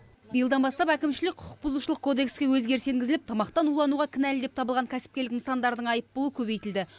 биылдан бастап әкімшілік құқық бұзушылық кодекске өзгеріс енгізіліп тамақтан улануға кінәлі деп табылған кәсіпкерлік нысандардың айыппұлы көбейтілді